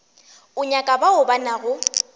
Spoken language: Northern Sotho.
o nyaka bao ba nago